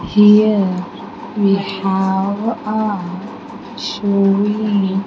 Here we have a showing --